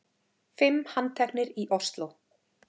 Fimm handteknir í Ósló